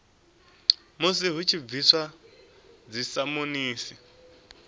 musi hu tshi bviswa dzisamonisi